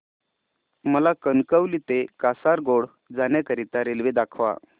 मला कणकवली ते कासारगोड जाण्या करीता रेल्वे दाखवा